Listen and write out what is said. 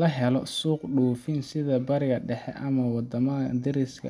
la helo suuq dhoofin, sida Bariga Dhexe ama waddamada deriska ah